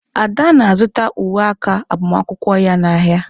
Ada na-azụta uwe aka agbamakwụkwọ ya n'ahịa.